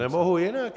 Nemohu jinak!